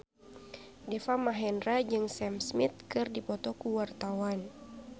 Deva Mahendra jeung Sam Smith keur dipoto ku wartawan